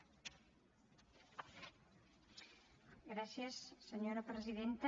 gràcies senyora presidenta